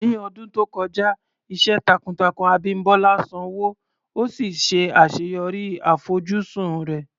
Ní ọdún tó kọjá, iṣẹ́ takuntakun Abimbola sanwó, ó sì ṣe àṣeyọrí àfojúsùn rẹ̀.